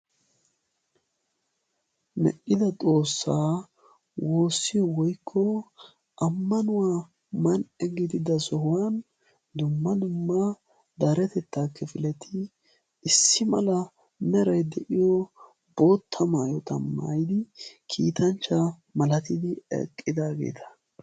Medhdhidda xoossaa woosiyo woykko amannuwa man'ee gididda sohuwan dumma dumma deretetaa kifileti issi mala meray de'iyo bootta maayotta maayiddi kiittanchcha malatidi eqqidaageeta.